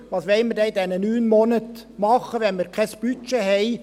Was wollen wir denn in diesen neun Monaten machen, wenn wir kein Budget haben?